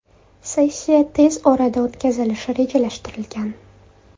Sessiya tez orada o‘tkazilishi rejalashtirilgan.